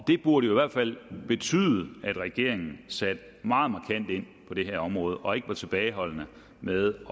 det burde jo i hvert fald betyde at regeringen satte markant ind på det her område og ikke var tilbageholdende med at